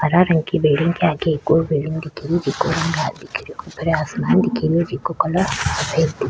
हरा रंग की बिल्डिंग के आगे एक और बिल्डिंग दिखरी खुले आसमान दिख रो जिको कलर --